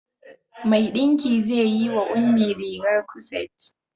Mai ɗinki zai yi wa Ummi rigar kuset.